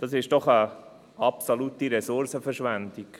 Das ist doch eine absolute Ressourcenverschwendung.